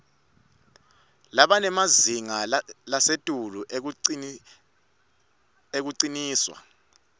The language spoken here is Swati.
labanemazinga lasetulu ekuncishwa